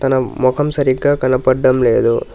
నా మొఖం సరిగ్గా కనపడ్డం లేదు.